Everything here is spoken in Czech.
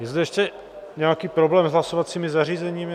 Je zde ještě nějaký problém s hlasovacími zařízeními?